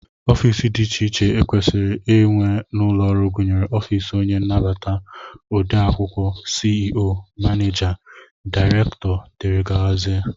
Ofiisi dị iche iche e kwesịrị inwe n'ụlọọrụ gụnyere ofiisi onye nnabata, odeakwụkwọ, CEO, manịja, daịrektọ, dgz